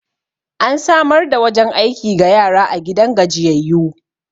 an samar da wajen aiki ga yara a gidan gajiyayyu